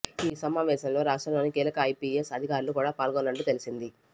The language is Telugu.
ఈ సమావేశంలో రాష్ట్రంలోని కీలక ఐపిఎస్ అధికారులు కూడా పాల్గొన్నట్టు తెలిసింది